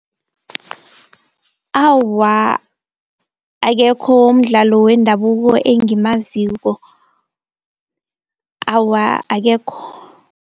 Awa akekho umdlalo wendabuko engimaziko, awa akekho.